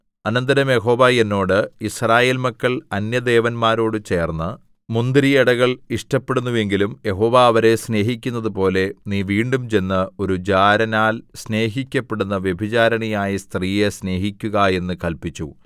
അനന്തരം യഹോവ എന്നോട് യിസ്രായേൽ മക്കൾ അന്യദേവന്മാരോട് ചേർന്ന് മുന്തിരിയടകൾ ഇഷ്ടപ്പെടുന്നുവെങ്കിലും യഹോവ അവരെ സ്നേഹിക്കുന്നതുപോലെ നീ വീണ്ടും ചെന്ന് ഒരു ജാരനാൽ സ്നേഹിക്കപ്പെടുന്ന വ്യഭിചാരിണിയായ സ്ത്രീയെ സ്നേഹിക്കുക എന്ന് കല്പിച്ചു